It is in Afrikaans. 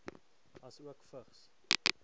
asook vigs